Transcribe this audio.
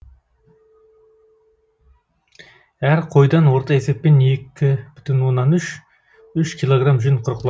әр қойдан орта есеппен екі бүтін оннан үш үш килограмм жүн қырқылады